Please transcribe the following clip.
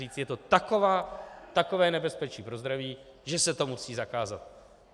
Říct je to takové nebezpečí pro zdraví, že se to musí zakázat.